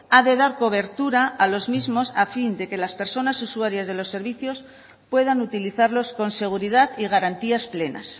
ha de dar cobertura a los mismos a fin de que las personas usuarias de los servicios puedan utilizarlos con seguridad y garantías plenas